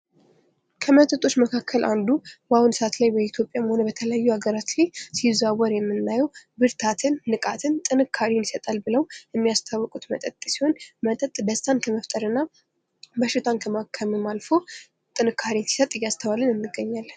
ከመጠጦች መካከል አንዱ በአሁኑ ሰአት በተለያዩ ሃገራት ላይ ሲዘዋወር የምናየው ብርታትን ንቃትን ጥንካሬን ይሰጣል ብለው የሚያስተዋውቁት መጠጥ ሲሆን መጠጥ ገዝተን በሽታን ከማከምም አልፎ እያስተዋልነው እንገኛለን።